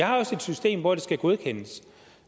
har også et system hvor det skal godkendes